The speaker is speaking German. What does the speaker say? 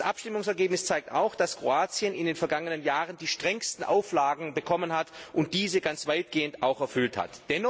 Das Abstimmungsergebnis zeigt auch, dass Kroatien, das in den vergangenen Jahren die strengsten Auflagen bekommen hat, diese ganz weitgehend erfüllt hat.